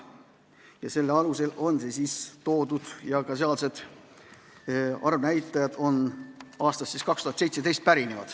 Ka eelnõu arvnäitajad pärinevad aastast 2017.